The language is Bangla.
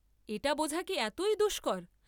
এটা বোঝা কি এতই দুষ্কর!